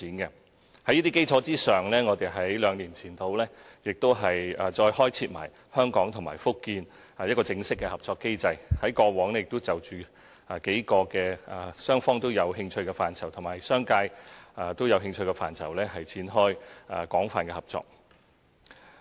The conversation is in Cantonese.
在這些基礎上，我們兩年前再開設香港與福建的正式合作機制，在過往亦有就數個雙方有連繫和商界有興趣的範疇展開廣泛合作。